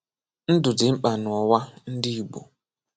Ndụ dị mkpa n’ụwa ndị Igbo